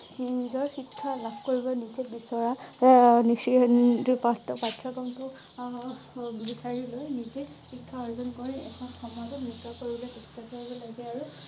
নিজৰ শিক্ষা লাভ কৰিব নিজেই বিচৰা আহ নিচেই সন্দি পাছ কৰা পাঠ্যক্ৰম টো অ অ বিচাৰি লৈ নিজেই শিক্ষা অৰ্জন কৰি এখন সমাজক নিকা কৰিবলৈ চেষ্টা কৰিব লাগে আৰু